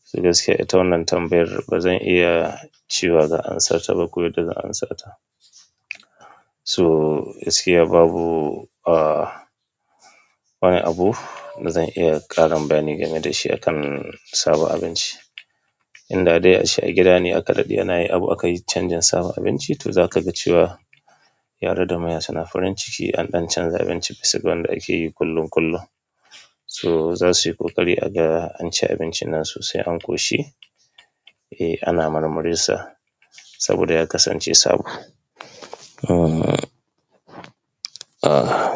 sai gaskiya ita wannan tambayar ba zan iya cewa zan amsata ba ko yadda zan amsata. So, gaskiya babu, ah, wani abu da zan iya ƙarin bayani game da shi kam sabon abinci. Inda dai a ce a gida ne aka daɗe ana yi abu aka yi canjin sabon abinci to za ka ga cewa yara da manya suna farin ciki an ɗan chanja abinci bisa wanda ake yi kullum-kullum so, za su yi ƙoƙari a ga an ci abincin nan sosai an ƙoshi eh ana marmarinsa saboda ya kasance sabo. Hmm, ah.